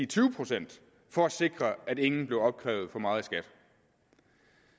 tyve procent for at sikre at ingen blev opkrævet for meget